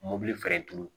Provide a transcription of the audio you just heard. Mɔbili feere turu